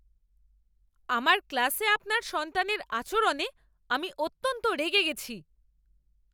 আমার ক্লাসে আপনার সন্তানের আচরণে আমি অত্যন্ত রেগে গেছি!